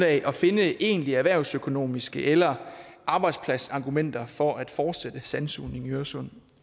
at finde egentlige erhvervsøkonomiske eller arbejdspladsargumenter for at fortsætte sandsugningen i øresund